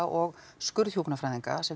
og skurðhjúkrunarfræðinga sem